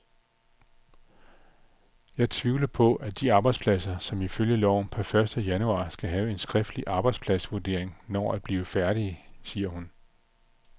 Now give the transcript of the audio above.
Jeg tvivler på, at de arbejdspladser, som ifølge loven per første januar skal have en skriftlig arbejdspladsvurdering, når at blive færdige, siger hun.